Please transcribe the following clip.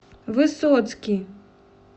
высоцкий